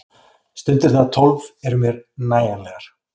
Stundirnar tólf eru mér nægjanlegar.